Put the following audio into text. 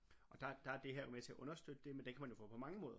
og der der det her jo med til at understøtte det men det kan man jo få på mange måder